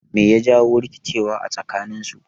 Me ya jawo rikice a tsakaninsu?